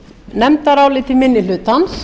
nefndaráliti minni hlutans